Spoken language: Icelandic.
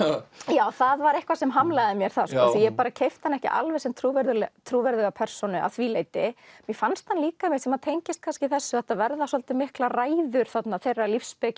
já það var eitthvað sem hamlaði mér þar því ég bara keypti hann ekki alveg sem trúverðuga trúverðuga persónu að því leyti mér fannst hann líka sem tengist kannski þessu að þetta verða svolítið miklar ræður þarna þeirra